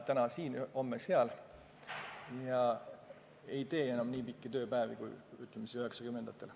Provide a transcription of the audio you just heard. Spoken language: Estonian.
Täna siin ja homme seal ja nad ei tee enam nii pikki tööpäevi, kui tehti 90-ndatel.